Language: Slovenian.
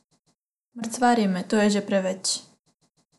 Mrcvari me, to je že preveč.